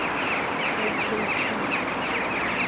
o k t